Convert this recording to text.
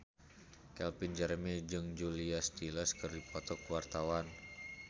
Calvin Jeremy jeung Julia Stiles keur dipoto ku wartawan